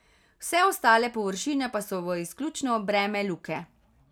Vse ostale površine pa so v izključno breme Luke.